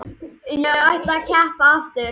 Ég ætla að keppa aftur.